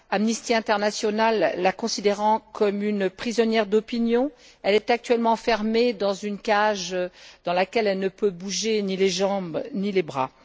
Amnesty International la considère comme une prisonnière d'opinion et elle est actuellement enfermée dans une cage dans laquelle elle ne peut bouger ni les jambes ni les bras.